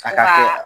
A ka